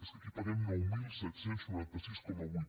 és que aquí paguem nou mil set cents i noranta sis coma vuit